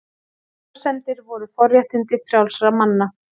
Efasemdir voru forréttindi frjálsra manna.